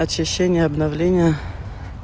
очищение обновление